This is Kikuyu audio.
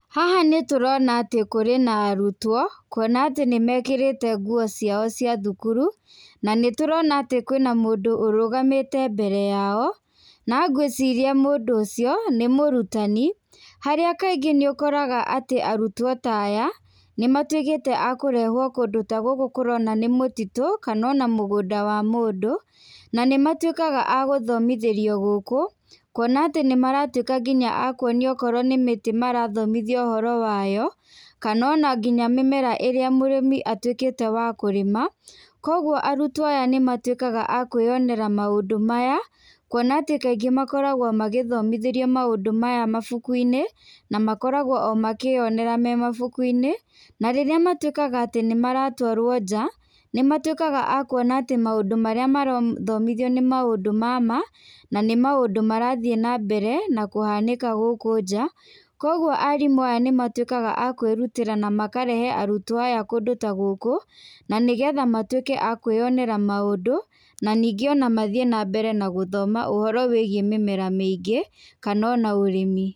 Haha nĩtũrona atĩ kũrĩ na arũtwo kũona tĩ nĩmekĩrĩte ngũo ciao cia thũkũrũ na nĩtũrona atĩ kwĩna mũndũ arũgamĩte mbere yao na ngiwĩciria mũndũ ũcio nĩ mũratani harĩa kaingĩ nĩũkora arũtwo ta aya nĩ matwĩkĩte akũrehwo kũndũ tagũkũ tũrona nĩ mũtitũ kana ona mũgũnda wa mũndũ na nĩmakwĩkaga agũthomithĩrio gũkũ kũona atĩ nĩmaratwĩka akũonio okorwo nĩ mĩtĩ marathomithio ũhoro wayo kana ona nginya mĩmera ĩrĩa mũrĩmĩa atwĩkĩte wakũrĩma kũogũo arũtwo aya nĩmatwĩkaga a kwĩyonera maũndũ maya kũona atĩ kaĩngĩ makoragwo magĩthomĩthĩrio maũndũ maya mabũkũ inĩ na makoragwo o makĩyonera mabũkũ inĩ , na rĩrĩa matwĩkaga atĩ nĩmaratwarwo nja nĩmatwĩkaga akũona atĩ maũndũ marĩa marathomithio atĩ nĩ nĩ maũndũ mama na nĩ maũndũ marathiĩ na mbere nakũhanĩka gũkũ nja kũogũo arĩmũ aya nĩmatwĩkaga akwĩrũtĩra na makarehe arũtwo aya kũndũ ta gũkũ nanĩgetha matwĩke a kwĩyonera maũndũ na ningĩ ona mathiĩ na mbere na gũthoma ũhoro wĩgiĩ mĩmera mĩingĩ kana ona ũrĩmi.